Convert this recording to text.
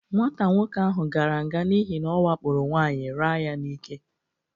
Nwata nwoke ahụ gara nga n'ihi na ọwakporo nwaanyị raa ya n'ike.